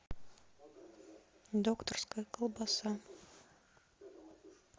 докторская колбаса